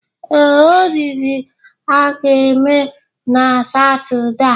Ee, oriri a ga-eme na Satọde a.